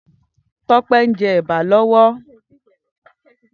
Tope n jè èbá lòwò